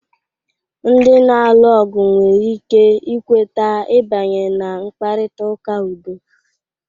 Ndị na-alụ ọgụ nwere ike ikweta ibanye na mkparịta ụka udo.